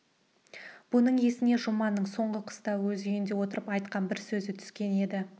бұның есіне жұманның соңғы қыста өз үйінде отырып айтқан бір сөзі түскен еді